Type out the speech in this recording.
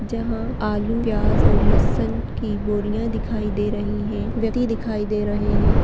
-- जहाँ आलू प्याज और लहसुन की बोरियाँ दिखाई दे रही है व्यक्ति दिखाई दे रहे हैं।